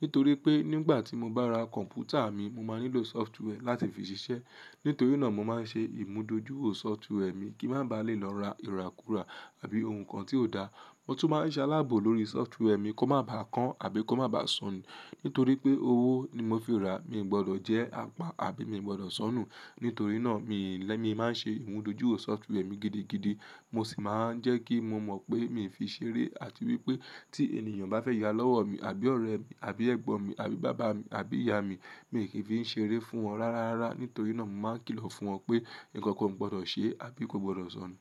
Nítorí pé nígbà tí mo bá ra kọ̀npútà mi, mo máa nílò sọfituee láti fi ṣiṣẹ́. Nítorí náà mo máa ń ṣe ìmúdòjú sọfituee mi kí má ba lè lọ ra ìrakura àbí ohun kan tí ò da. Mo tún máa ń ṣe alábò lórí sọfituee mi kó má baà kan àbí kó má baà sọnù. Nítorí pé owó ni mo fi ràá, mi ò gbọdọ̀ jẹ́ àpá àbí mi ò gbọdọ̀ sọnù. Nítorí náà mi lè, mi máa ń ṣe ìmúdòjú sọfituee mi gidigidi. Mo sì máa ń jẹ́ kí mo mọ̀ pé mi ò fi ṣeré àti wípé tí ènìyàn bá fẹ́ ya lọ́wọ́ mi àbí ọ̀rẹ́ mi, àbí ẹ̀gbọ́n mi, àbí bàbá mi, àbí ìyá mi, mi ò kí ń fi í ṣeré fún wọn rárárá. Nítorí náà mo máa kìlọ̀ fún wọn pé nǹkankan kò gbọdọ̀ ṣé àbí kò gbọdọ̀ sọnù.